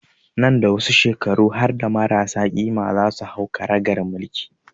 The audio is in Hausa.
Nan da wasu shekaru harda marasa ƙima za su hau karagar mulki